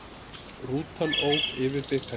Rútan ók yfir bikarinn